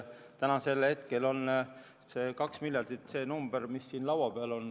Tänasel hetkel on 2 miljardit see number, mis siin laua peal on.